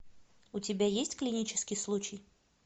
у тебя есть клинический случай